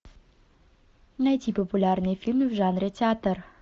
найти популярные фильмы в жанре театр